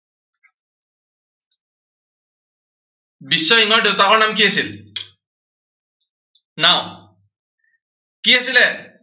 বিশ্বসিংহৰ দেউতাকৰ নাম কি আছিল? নাম কি আছিলে?